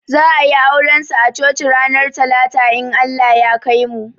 Za a yi auran su a coci ranar talata in Allah ya kaimu